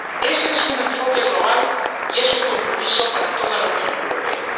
Ese es un enfoque global y es un compromiso para toda la Unión Europea.